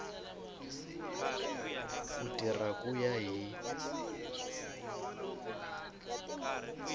ku tirha ku ya hi